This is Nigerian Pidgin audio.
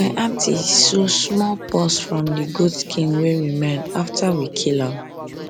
my aunty sew small purse from the goat skin wey remain after we kill am